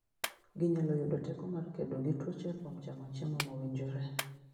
Ginyalo yudo teko mar kedo gi tuoche kuom chamo chiemo mowinjore.